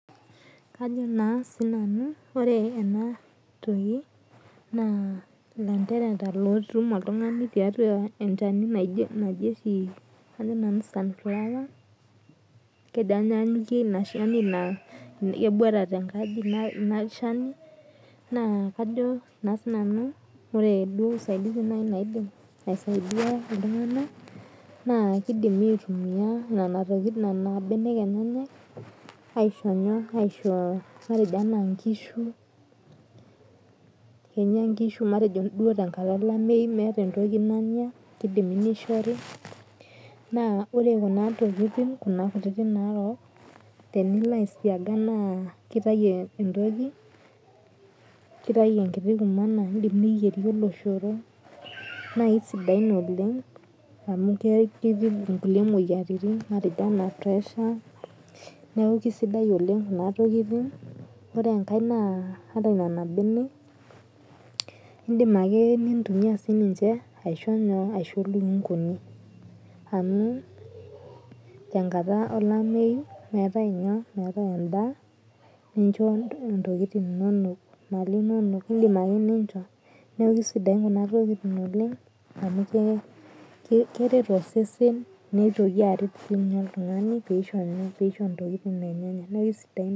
Kajo na sinanu ore enatoki na landerea lotum oltungani tiatua enchani naji oshi sunflower kejo anyamyikie naa keboita tenkaji nabo na kajo nanu ore usaidizi naidim aisaidia ltunganak naakidim aitumia nona benek enyenak aishoo anaa nkishu anaa meeta entoki nanya na ore kunatokitin narok teniloaisiaga nakitau entoki enkiti kurma na kidim niyierie oloshoro amu kebak inkuti moyiaritin neaku kesidai oleng nona tokitin ore enkae na indim ake aitumia sininche aisho lukunguni amu tenkata olameyu meetae nyoo endaa nincho ntokitin inonok neaku kesidain amu keret osesen lino nisho mali enye neaku kesidain.